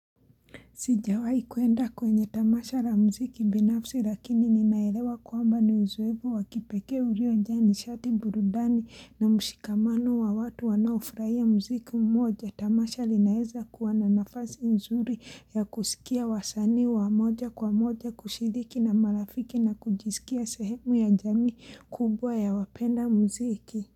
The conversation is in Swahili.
Sijawai kuenda kwenye Tamasha la muziki binafsi lakini ninaelewa kwamba ni uzoefu wakipekee urio njani shati burudani na mshikamano wa watu wanaofurahia muziki mmoja. Tamasha linaweza kuwa na nafasi nzuri ya kusikia wasani wa moja kwa moja kushiriki na marafiki na kujisikia sehemu ya jami kubwa ya wapenda mziki.